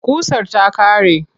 Ƙusar ta ƙare.